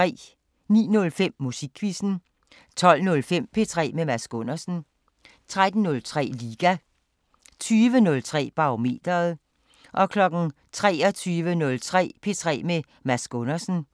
09:05: Musikquizzen 12:05: P3 med Mads Gundersen 13:03: Liga 20:03: Barometeret 23:03: P3 med Mads Gundersen